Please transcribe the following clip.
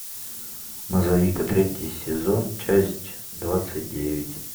мозаика третий сезон часть двадцать девять